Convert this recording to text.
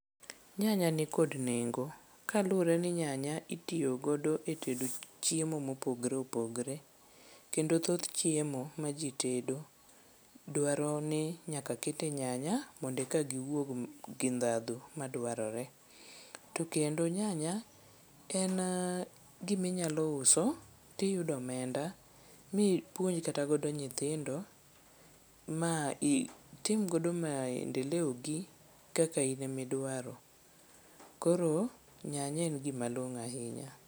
Nyanya nikod nengo kaluwore ni nyanya itiyo godo e tedo chiemo mopogore opogore kendo thoth chiemo maji tedo dwaro ni nyaka kete nyanya mondo eka giwuog ndhadhu madwarore. To kendo nyanya en gima inyalo uso to iyudo omenda ma ipuonj kata godo nyithindo ma itim godo maendeleo gi kaka in ema idwaro. Koro nyanya en gima long'o ahinya.